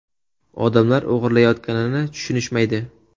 Odamlar o‘g‘irlayotganini tushunishmaydi.